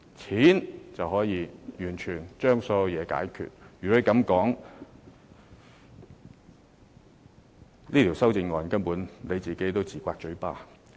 若然如此，張議員提出這項修正案根本是自打嘴巴。